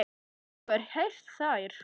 Hefur einhver heyrt þær?